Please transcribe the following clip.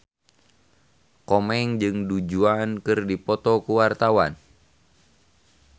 Komeng jeung Du Juan keur dipoto ku wartawan